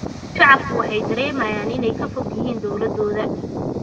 Shacabku waxay dareemayaan inay ka fog yihiin dawladooda.